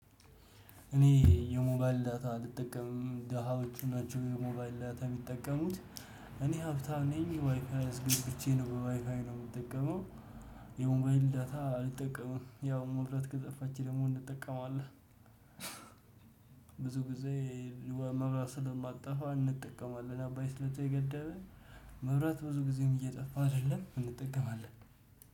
እኔ የሞባይል ዳታ አልጠቀምም ደሃዎቹ ናቸው የሞባል ዳታ የሚጠቀሙት። እኔ ሀብታም ነኝ ዋይፋይ አስገብቼ ነው በዋይፋይ ነው የምጠቀመው። የሞባይል ዳታ አልጠቀምም ያው መብራት ከጠፋች ደግሞ እንጠቀመዋለን። ብዙ ጊዜ መብራት ስለማትጠፋ እንጠቀማለን። አባይ ስለተገደበ መብራት ብዙ ጊዜም እየጠፋ አይደለም እንጠቀማለን።